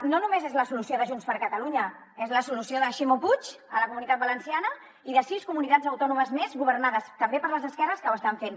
no només és la solució de junts per catalunya és la solució de ximo puig a la comunitat valenciana i de sis comunitats autònomes més governades també per les esquerres que ho estan fent